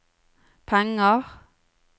penger